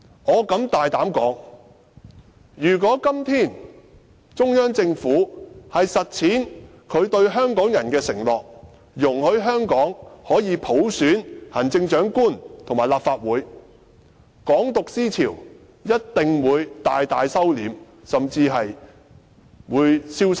我敢大膽說，如果今天中央政府實踐對香港人的承諾，容許香港可以普選行政長官和立法會，"港獨"思潮一定會大為收斂，甚至在香港消失。